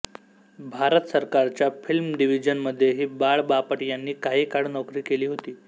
भारत सरकारच्या फिल्म डिव्हिजनमध्येही बाळ बापट यांनी काही काळ नोकरी केली होती